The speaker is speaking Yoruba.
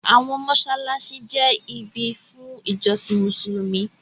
Àwọn mọ́ṣáláṣí jẹ́ ibi fún ìjọsìn Mùsùlùmí.